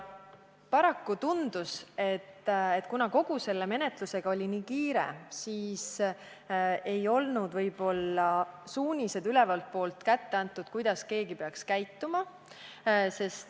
Paraku tundus, et kuna kogu selle menetlusega oli niivõrd kiire, siis võib-olla ei olnud ülevalt poolt suuniseid kätte antud, kuidas keegi peaks käituma.